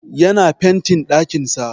Yana fentin ɗakin sa